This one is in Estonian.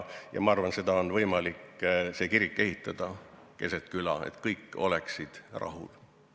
Ma usun, et on võimalik kirik ehitada keset küla, nii et kõik on rahul.